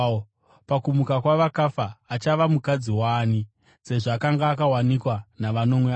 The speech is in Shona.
Pakumuka kwavakafa, achava mukadzi waani, sezvo akanga akawanikwa navanomwe ava?”